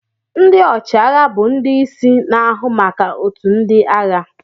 Ndị ọchịagha bụ ndị isi na-ahụ maka otu ndị agha.